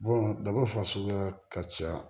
daba fasuguya ka ca